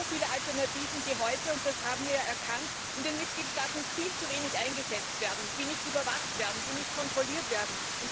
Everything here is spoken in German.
es gibt so viele Alternativen, die heute und das haben wir erkannt in den Mitgliedstaaten viel zu wenig eingesetzt werden, die nicht überwacht werden, die nicht kontrolliert werden